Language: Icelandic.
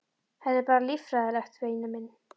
Þetta er bara líffræðilegt, væni minn.